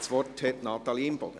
Das Wort hat Natalie Imboden.